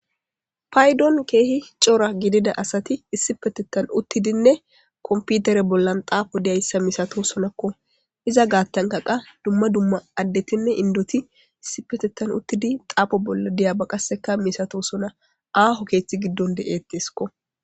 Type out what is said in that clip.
paydon keehi cora gidida asati issi petettan uttidinne komputere bollan xaafo diyayssa misato sonakko iza gaattanka qa dumma dumma addetinne indoti issi petettan uttidi xaafo bolla diyaba qaseka misato sona aaho keeththi giddon de7eetteskko